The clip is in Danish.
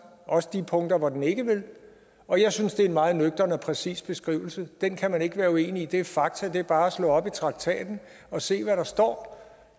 også de punkter hvor den ikke vil og jeg synes det er en meget nøgtern og præcis beskrivelse den kan man ikke være uenig i det er fakta det er bare at slå op i traktaten og se hvad der står